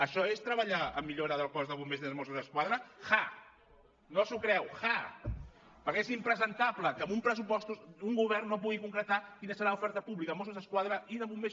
això és treballar en la millora del cos de bombers i dels mossos d’esquadra ha no s’ho creu ha perquè és impresentable que en uns pressupostos un govern no pugui concretar quina serà l’oferta pública de mossos d’esquadra i de bombers